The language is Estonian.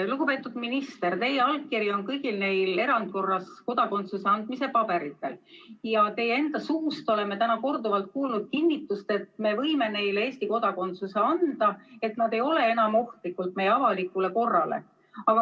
Lugupeetud minister, teie allkiri on kõigil neil erandkorras kodakondsuse andmise paberitel ja oleme teie enda suust korduvalt kuulnud kinnitust, et me võime neile isikutele Eesti kodakondsuse anda, sest nad ei ole enam meie avalikule korrale ohtlikud.